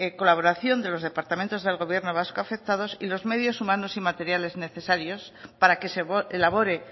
colaboración de los departamentos del gobierno vasco afectados y los medios humanos y materiales necesarios para que se elabore